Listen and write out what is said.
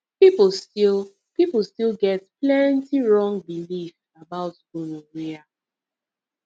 people still people still get plenty wrong belief about gonorrhea